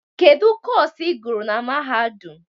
Kedu Kọsu ị gụrụ na mahadum?